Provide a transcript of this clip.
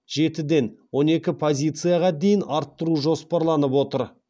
жетіден он екі позицияға дейін арттыру жоспарланып отыр